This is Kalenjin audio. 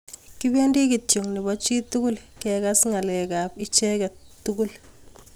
Kipendii kityoo nepoo chitugul kekas ngalek ap icheek tugul